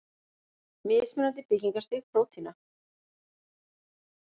Mismunandi byggingarstig prótína.